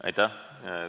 Aitäh!